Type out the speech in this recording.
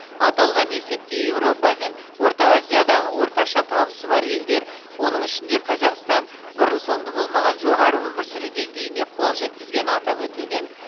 аталған есепте еуропа мен орта азиядағы орташа табысы бар елдер оның ішінде қазақстан бұрын соңды болмаған жоғары өмір сүру деңгейіне қол жеткізгені атап өтілген